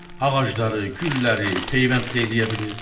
Ağacları, gülləri, peyvənddə eləyə bilir.